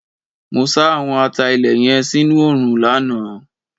Mo sá àwọn ata-ilé yẹn sínú òòrùn lánàá.